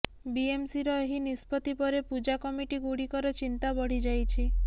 ବିଏମ୍ସିର ଏହି ନିଷ୍ପତ୍ତି ପରେ ପୂଜା କମିଟିଗୁଡ଼ିକର ଚିନ୍ତା ବଢ଼ି ଯାଇଛି